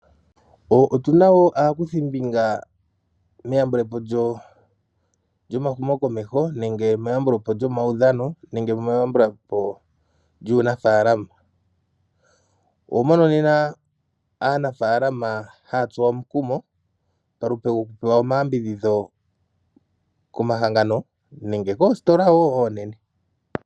Otuna wo aakuthimbinga meyambulepo lyomahumokomeho nenge meyambulepo lyomawudhano, nenge meyambulepo lyuunafaalama. Oho mono nena aanafaalama hatsuwa omukumo palupe lokupewa omayambidhidho komahangano nenge koositola wo oonene.